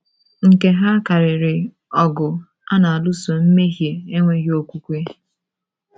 Nke ha karịrị ọgụ a na - alụso mmehie enweghị okwukwe.